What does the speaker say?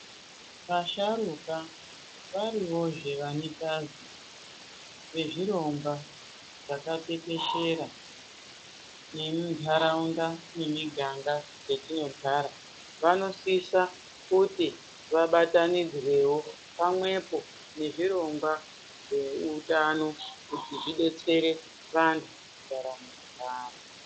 Asharukwa variwozve vane bazi rezvirongwa zvakatekeshera nemuntaraunda nemiganga dzetinogara vanosisa kuti vabatanidzwewo pamwepo nezvirongwa zveutano kuti zvidetsere vantu mundaramo dzavo.